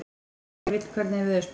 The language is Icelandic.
Skefill, hvernig er veðurspáin?